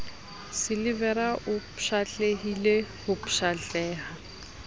silivera o pshatlehile ho pshatleha